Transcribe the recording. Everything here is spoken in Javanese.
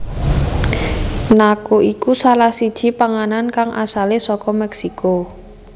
Nacho iku salah siji panganan kang asale saka Meksiko